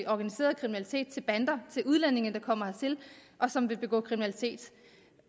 organiseret kriminalitet bander udlændinge der kommer hertil og som vil begå kriminalitet